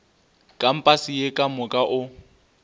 kampase ye ka moka o